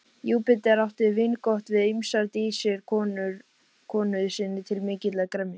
Júpíter átti vingott við ýmsar dísir konu sinni til mikillar gremju.